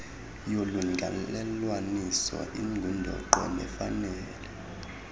yolungelelwaniso ingundoqo nefanele